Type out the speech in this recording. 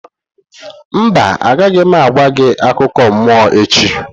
Mba, agaghị m agwa gị akụkọ mmụọ echi.